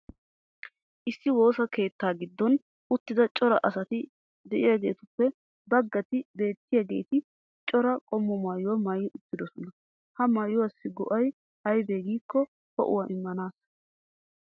Issi woossa keettaa giddon uttida cora asati diyaageetuppe bagatti beetiyaageeti cora qommo maayuwaa maayi uttidosona. Ha maayuwaassi go'ay aybee giikko ho'uwaa immanaassa.